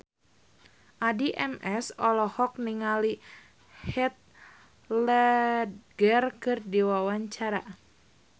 Addie MS olohok ningali Heath Ledger keur diwawancara